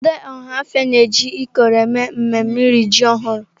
Ndị Ọhafia na-eji ikoro eme mmemme iri ji ọhụrụ.